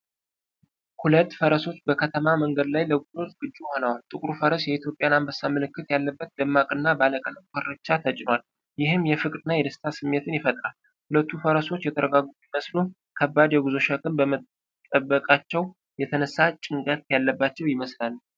ሁለት ፈረሶች በከተማ መንገድ ላይ ለጉዞ ዝግጁ ሆነዋል። ጥቁሩ ፈረስ የኢትዮጵያን አንበሳ ምልክት ያለበት ደማቅና ባለቀለም ኮርቻ ተጭኗል፤ ይህም የፍቅርንና የደስታን ስሜት ይፈጥራል። ሁለቱም ፈረሶች የተረጋጉ ቢመስሉም፣ ከባድ የጉዞ ሸክም በመጠበቃቸው የተነሳ ጭንቀት ያለባቸው ይመስላሉ።